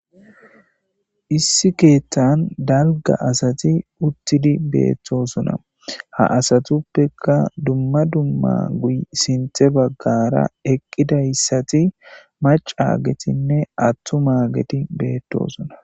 issi keeththan dalga asati uttidi beettosuna ha asatuppeka dumma dumma guy sinthe baggara eqqidayssati macaagetinne attu maageti beettosuna